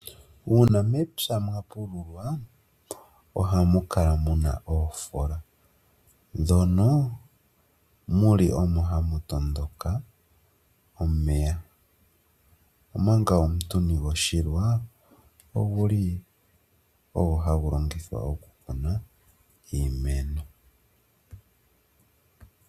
Uuna mepya mwa pululwa ohamu kala muna oofola, ndhono muli omo hamu tondoka omeya, omanga omutuni goshilwa oguli ogo hagu longithwa okukuna iimeno.